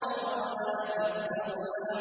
أَن رَّآهُ اسْتَغْنَىٰ